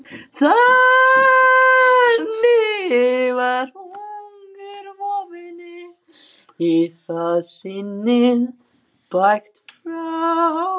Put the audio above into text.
Þannig var hungurvofunni í það sinnið bægt frá.